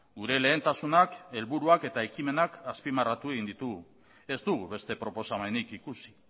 gure lehentasunak helburuak eta ekimenak azpimarratu egin ditugu ez dugu beste proposamenik ikusi